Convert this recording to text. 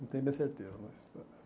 Não tenho bem certeza mas.